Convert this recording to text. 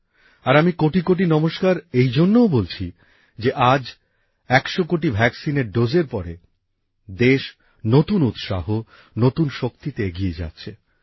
আর আমি কোটি কোটি নমস্কার এইজন্যেও বলছি যে আজ একশো কোটি টিকার ডোজের পরে দেশ নতুন উৎসাহ নতুন শক্তিতে এগিয়ে যাচ্ছে